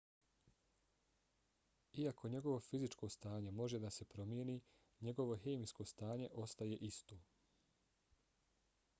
iako njegovo fizičko stanje može da se promijeni njegovo hemijsko stanje ostaje isto